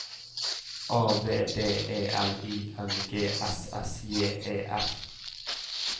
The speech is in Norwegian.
A V D E L I N G S S J E F